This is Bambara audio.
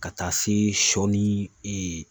Ka taa se sɔ ni e